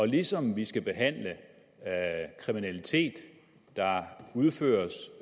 ligesom vi skal behandle kriminalitet der udføres